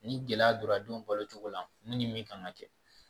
Ni gɛlɛya donna denw balo cogo la ni min kan ka kɛ